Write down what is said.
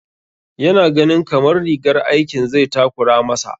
Ya na ganin kamar rigar aikin zai takura ma sa